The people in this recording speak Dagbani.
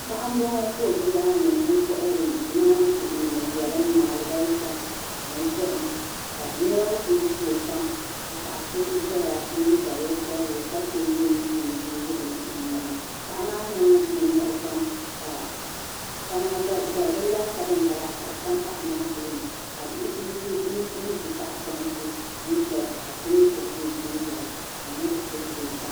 Paɣa m-bɔŋɔ ka o be daa ni n-kɔhiri naanzuhi yɛlim ni alibalisa ni zahim ka niriba kuli gubi o pam ka paɣa so zaya n-ye daliya piɛlli ka teegi o nuu bini o nuu ni paɣa maa niŋ nimmɔhi pam ka kamani dalibila laasabu m-bala ka di tam paɣa tooni ka bihi kuli ye kuli ʒi tahipɔnti n-ʒɛya ka so mi bibigi o kpee ʒɛya ka niriba kuli be